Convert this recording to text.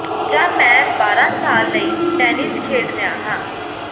ਜਾਂ ਮੈਂ ਬਾਰਾਂ ਸਾਲ ਲਈ ਟੈਨਿਸ ਖੇਡ ਰਿਹਾ ਹਾਂ